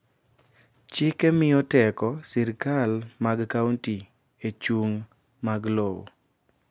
chik miyo teko sirikal mag county e chung mag lowo